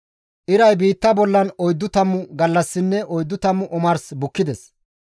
Iray biitta bollan oyddu tammu gallassinne oyddu tammu omars bukkides.